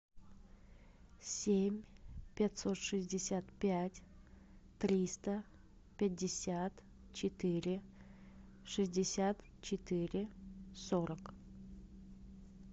семь пятьсот шестьдесят пять триста пятьдесят четыре шестьдесят четыре сорок